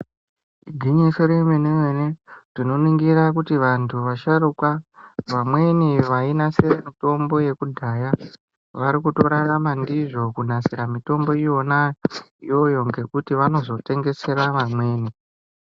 Igwinyiso remene-mene, tinoningira kuti vanthu vasharuka, vamweni vainasire mitombo yekudhaya, vari kutorarama ndizvo, kunasire mitombo yona iyoyo, ngekuti vanozotengesera vamweni.